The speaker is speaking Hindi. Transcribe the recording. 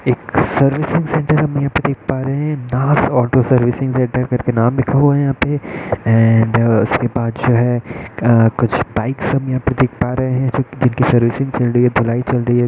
एक सर्विस सेंटर हम देख पा रहे हैनाज ऑटो सर्विसिंग सेंटर कर के नाम लिखा हुआ है यहाँ पे एंड उसके बाद जो है कुछ बाइक्स हम यहाँ पर देख पा रहे है जिनकी सर्विसिंग चल रही है धुलाई चल रही है।